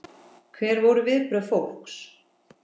Hver voru viðbrögð fólks?